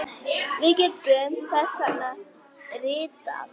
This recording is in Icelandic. Við getum þess vegna ritað